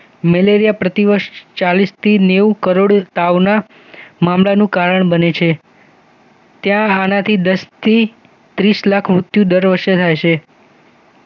malaria પ્રતિવર્ષ ચાલીસ થી નેવું કરોડ તાવના મામલાનું કારણ બને છે ત્યાં આનાથી દસથી ત્રીસ લાખ મૃત્યુ દર વર્ષે રહે છે